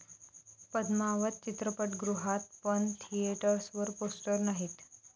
पद्मावत' चित्रपटगृहात, पण थिएटर्सवर पोस्टर्स नाहीत